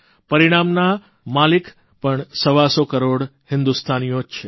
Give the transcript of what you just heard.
પરિણામના માલિક પણ સવાસો કરોડ હિંદુસ્તાનીઓ જ છે